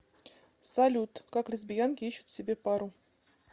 салют как лесбиянки ищут себе пару